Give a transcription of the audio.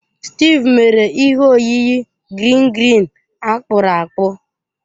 Steve mere ihe oyiyi green green akpụrụ akpụ.